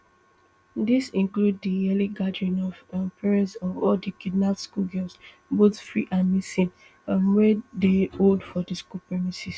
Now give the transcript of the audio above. dis include di yearly gathering of um parents of all di kidnapped schoolgirls both free and missing um wey dey hold for di school premises